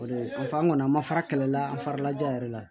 O de fɔ an kɔni an ma fara kɛlɛ la an farala ja yɛrɛ la